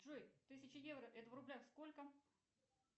джой тысяча евро это в рублях сколько